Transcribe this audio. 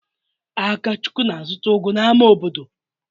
Akachukwu na-azụta ugu n'ámá obodo?